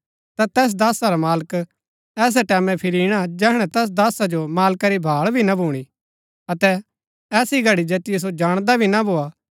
ता तैस दासा रा मालक ऐसै टैमैं फिरी ईणा जैहणै तैस दासा जो मालका री भाळ भी ना भूणी अतै ऐसी घड़ी जैतिओ सो जाणदा भी ना भोआ